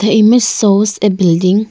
The image shows a building.